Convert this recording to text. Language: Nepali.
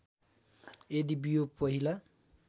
यदि बियो पहिला